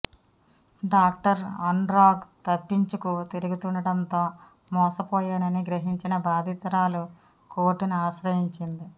doctor Anurag తప్పించుకు తిరుగుతుండటంతో మోసపోయానని గ్రహించిన బాధితురాలు కోర్టును ఆశ్రయించింది